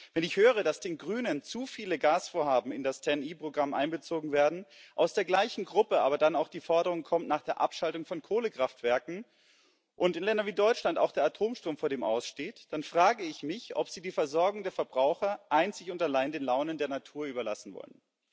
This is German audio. Wenn ich höre, dass den Grünen zu viele Gasvorhaben in das TEN E Programm einbezogen werden, aus der gleichen Gruppe dann aber auch die Forderung nach der Abschaltung von Kohlekraftwerken kommt und in Ländern wie Deutschland auch der Atomstrom vor dem Aus steht, dann frage ich mich, ob Sie die Versorgung der Verbraucher einzig und allein den Launen der Natur überlassen wollen.